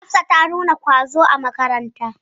Hafsa ta nuna ƙwazo a makaranta.